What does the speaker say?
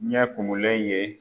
Ɲɛ kumunlen ye